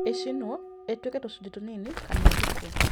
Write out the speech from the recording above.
Ĩcinwo, ĩtuĩke tũcunjĩ tũnini, kana ĩthikwo